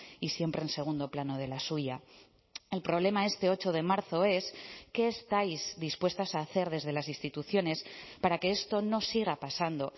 y siempre en segundo plano de la suya el problema este ocho de marzo es qué estáis dispuestas a hacer desde las instituciones para que esto no siga pasando